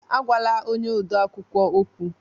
Agwala onye odeakwụkwọ okwu